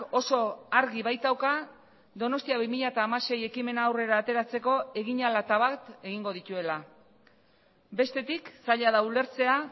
oso argi baitauka donostia bi mila hamasei ekimena aurrera ateratzeko egin ahala eta bat egingo dituela bestetik zaila da ulertzea